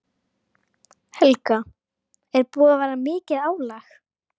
Helga: Er búið að vera mikið álag?